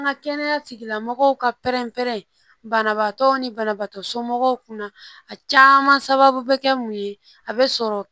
An ka kɛnɛya tigilamɔgɔw ka pɛrɛn-pɛrɛn banabaatɔ ni banabaatɔ somɔgɔw kunna a caman sababu bɛ kɛ mun ye a bɛ sɔrɔ